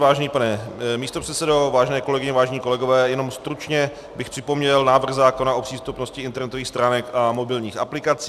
Vážený pane místopředsedo, vážené kolegyně, vážení kolegové, jen stručně bych připomněl návrh zákona o přístupnosti internetových stránek a mobilních aplikací.